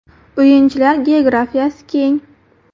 O‘yinchilar geografiyasi keng.